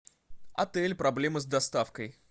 отель проблемы с доставкой